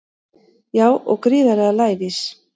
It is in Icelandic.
Já og gríðarlega lævís